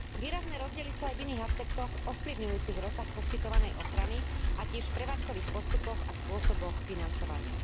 Výrazné rozdiely sú aj v iných aspektoch ovplyvňujúcich rozsah poskytovanej ochrany a tiež v prevádzkových postupoch a spôsoboch financovania.